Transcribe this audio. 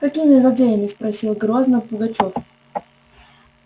какими злодеями спросил грозно пугачёв